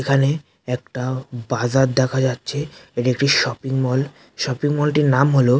এখানে একটা বাজার দেখা যাচ্ছে এটি একটি শপিং মল শপিং মল টির নাম হল--